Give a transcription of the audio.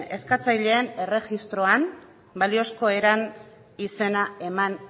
eskatzaileen erregistroan baliozko eran izena eman